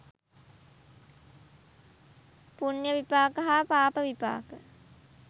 පුණ්‍ය විපාක හා පාප විපාක